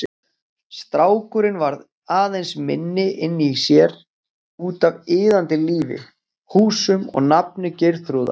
Strákurinn varð aðeins minni inni í sér, útaf iðandi lífi, húsum og nafni Geirþrúðar.